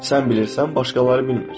Sən bilirsən, başqaları bilmir.